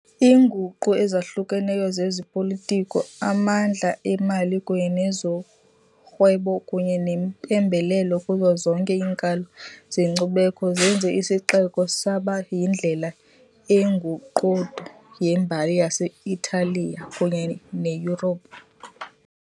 Iinguqu ezahlukeneyo zezopolitiko, amandla emali kunye nezorhwebo kunye neempembelelo kuzo zonke iinkalo zenkcubeko zenze isixeko saba yindlela engundoqo yembali yase-Italiya kunye neYurophu.